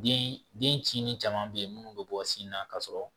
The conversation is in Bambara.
Den den ci ni caman be yen munnu be bɔ sin na ka sɔrɔ